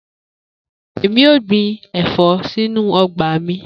Emi o gbin ẹfọ sinu ọgba mi